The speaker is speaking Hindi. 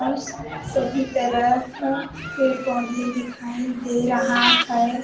सभी तरफ पेड़ पौधे दिखाई दे रहा हैं।